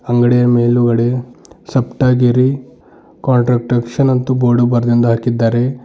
ಅಂಗಡಿಯ ಮೇಲುಗಡೆ ಸಪ್ತಗಿರಿ ಕಾಂಟ್ರಡಕ್ಷನ್ ಅಂತು ಬೋರ್ಡ್ ಬರೆದಿಂದು ಹಾಕಿದ್ದಾರೆ.